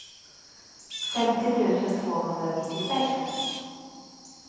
femtio tusen tvåhundranittiosex